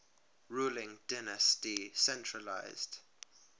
ruling dynasty centralised